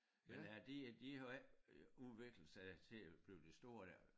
Men øh de de har jo ikke øh udviklet sig til at blive det store der